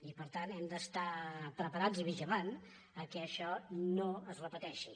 i per tant hem d’estar preparats i vigilant que això no es repeteixi